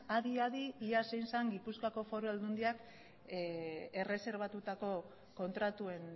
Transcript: adi adi ia zein zen gipuzkoako foru aldundiak erreserbatutako kontratuen